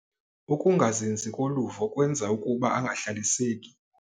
Ukungazinzi koluvo kwenza ukuba angahlaliseki.